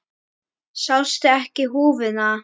Sástu ekki húfuna?